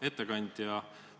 Hea ettekandja!